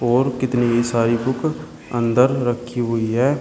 और कितनी ही सारी बुक अंदर रखी हुई है।